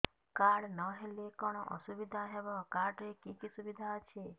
card ନହେଲେ କଣ ଅସୁବିଧା ହେବ କାର୍ଡ ରେ କି କି ସୁବିଧା ଅଛି